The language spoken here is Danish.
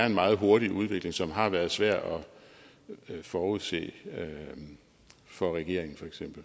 en meget hurtig udvikling dér som har været svær at forudse for regeringen